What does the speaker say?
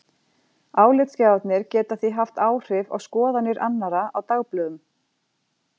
Álitsgjafarnir geta því haft áhrif á skoðanir annarra á dagblöðunum.